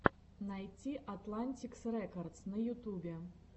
найти атлантик рекордс на ютубе